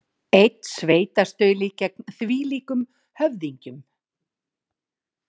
Einn sveinstauli gegn þvílíkum höfðingjum.